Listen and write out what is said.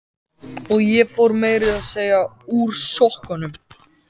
Og ég fór meira að segja úr sokkunum.